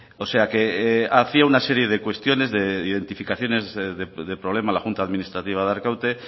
o sea que hacía una serie de cuestiones de identificaciones de problema la junta administrativa de arkaute